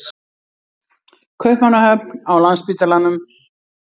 Kaupmannahöfn, á Landspítalanum.